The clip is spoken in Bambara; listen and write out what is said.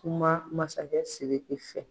Kuma masakɛ SIRIKI fɛ.